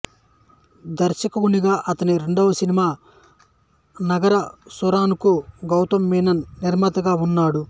దర్శకునిగా అతని రెండవ సినిమా నరగసూరన్ కు గౌతం మీనన్ నిర్మాతగా ఉన్నాడు